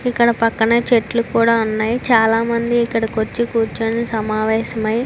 ఇక్కడ పక్కన చెట్లు కూడా ఉన్నాయి నైట్ చాలా మంది ఇక్కడికి వచ్చి కూర్చుని సమావేశం ఐ--